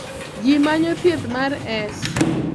Ji manyo thieth mar S.